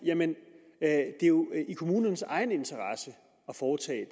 at det jo er i kommunernes egen interesse at foretage